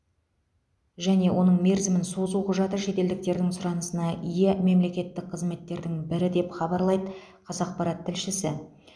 және оның мерзімін созу құжаты шетелдіктердің сұранысына ие мемлекеттік қызметтердің бірі деп хабарлайды қазақпарат тілшісі